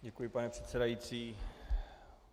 Děkuji, pane předsedající.